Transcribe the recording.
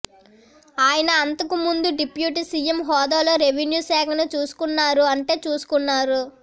ఆయన అంతకు ముందు డిప్యూటీ సీఎం హోదాలో రెవిన్యూ శాఖను చూసుకున్నారు అంటే చూసుకున్నారు